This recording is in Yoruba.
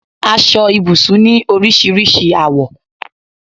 Aṣọ ibùsùn ni oríṣiríṣi àwọ